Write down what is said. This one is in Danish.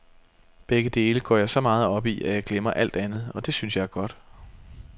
Begge dele går jeg så meget op i, at jeg glemmer alt andet, og det synes jeg er godt.